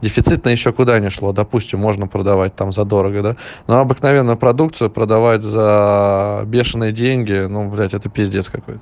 дефицитная ещё куда ни шло допустим можно продавать там за дорого да но обыкновенную продукцию продавать за бешеные деньги ну блять это пиздец какой-то